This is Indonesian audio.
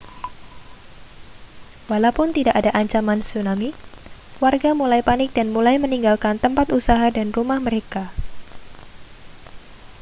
walaupun tidak ada ancaman tsunami warga mulai panik dan mulai meninggalkan tempat usaha dan rumah mereka